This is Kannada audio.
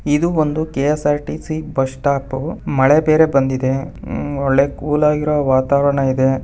ಇದು ಒಂದು ಕೆ_ಸ್_ರ್_ಟಿ_ಸಿ ಬಸ್ ಸ್ಟಾಪ್ ಮಳೆ ಬೇರೆ ಬಂದಿದೆ ಉ ಹೊಳೆ ಕೂಲ್ ಆಗಿ ಇರೋ ವಾತಾವರಣ ಇದೆ.